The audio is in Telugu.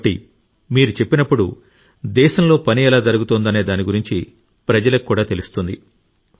కాబట్టి మీరు చెప్పినప్పుడు దేశంలో పని ఎలా జరుగుతుందనే దాని గురించి ప్రజలకు కూడా తెలుస్తుంది